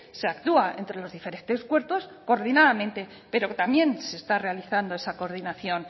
se actúa entre los diferentes cuerpos coordinadamente pero también se está realizando esa coordinación